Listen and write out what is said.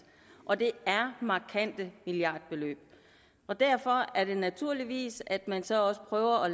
og det er markante milliardbeløb derfor er det naturligt at man så også prøver at